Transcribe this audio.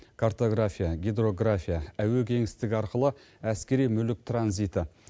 картография гидрография әуе кеңістігі арқылы әскери мүлік транзиті